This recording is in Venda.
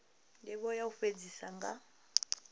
ndivho ya u fhedzisa nga